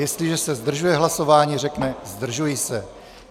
Jestliže se zdržuje hlasování, řekne "zdržuji se".